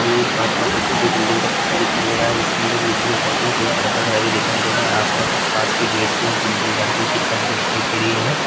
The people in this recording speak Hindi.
हमे एक बाहर का फोटो बिल्डिंग का फोटो दिखाई दे रहा है जिसके अंदर नीचे क साइक मे दो शटर लगे दिखाई दे रही है आस पास कुछ कांच के गेट भी ओर बिल्डिंग घर दिखाई-दिखाई दे रही है।